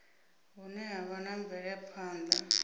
vhune ha vha na mvelaphana